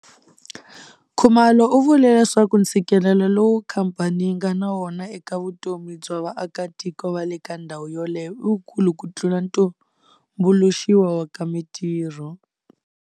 Khumalo u vule leswaku ntshikelelo lowu khamphani yi nga na wona eka vutomi bya vaakitiko va le ka ndhawu yoleyo i wukulu ku tlula tumbuluxiwa ka mitirho.